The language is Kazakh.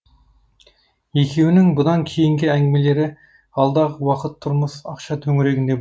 екеуінің бұдан кейінгі әңгімелері алдағы уақыт тұрмыс ақша төңірегінде